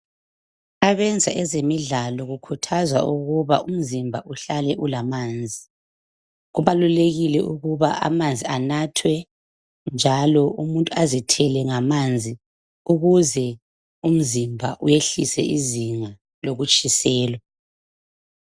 Abenza ezemidlalo kukhuthazwa ukuba umzimba uhlale ulamanzi. Kubalulekile ukuba amanzi anathwe njalo umuntu azithele ngamanzi ukuze umzimba uyehlise izinga lokutshiselwa